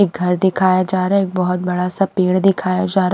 एक घर दिखाया जा रहा है एक बहुत बड़ा सा पेड़ दिखाया जा --